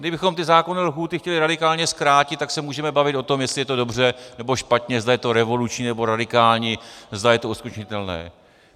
Kdybychom ty zákonné lhůty chtěli radikálně zkrátit, tak se můžeme bavit o tom, jestli je to dobře, nebo špatně, zda je to revoluční, nebo radikální, zda je to uskutečnitelné.